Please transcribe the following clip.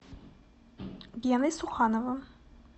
геной сухановым